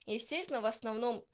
естественно в основном